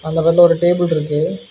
அதுல வெள்ள ஒரு டேபிள்ருக்கு .